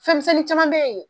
Fɛnmisɛnnin caman be yen